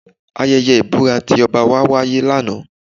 Ayẹyẹ ìbúra ti ọba wa wáyé lánàá